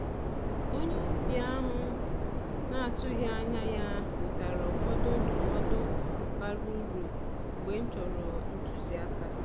Onye ọbịa ahụ m na-atụghị anya ya wetara ụfọdụ ndụmọdụ bara uru mgbe m chọrọ ntuzi aka.